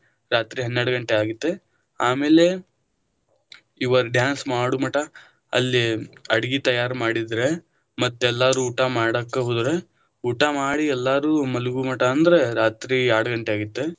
ರಾತ್ರಿ ಹನ್ನೆರಡಾ ಗಂಟೆ ಆಗಿತ್ತ, ಆಮೇಲೆ ಇವರ dance ಮಾಡು ಮಟ ಅಲ್ಲೇ ಅಡಗಿ ತಯಾರ ಮಾಡಿದ್ರ ಮತ್ತ ಎಲ್ಲರೂ ಊಟಾ ಮಾಡಾಕ ಹೋದ್ರ, ಊಟಾ ಮಾಡಿ ಎಲ್ಲರೂ ಮಲಗು ಮಠ ಅಂದ್ರ ರಾತ್ರಿ ಎರಡಗಂಟೆ ಆಗಿತ್ತು.